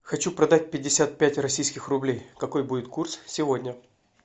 хочу продать пятьдесят пять российских рублей какой будет курс сегодня